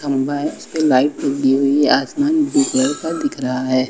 Light टूटी हुई है आसमान के जैसा दिख रहा है।